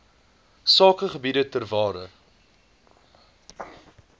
sakegebiede ter waarde